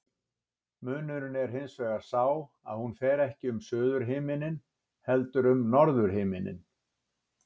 Munurinn er hins vegar sá að hún fer ekki um suðurhimininn heldur um norðurhimininn.